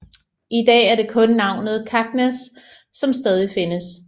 I dag er det kun navnet Kaknäs som stadig findes